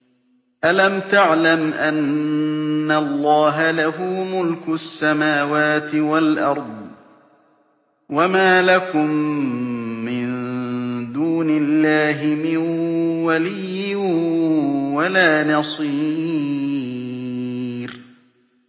أَلَمْ تَعْلَمْ أَنَّ اللَّهَ لَهُ مُلْكُ السَّمَاوَاتِ وَالْأَرْضِ ۗ وَمَا لَكُم مِّن دُونِ اللَّهِ مِن وَلِيٍّ وَلَا نَصِيرٍ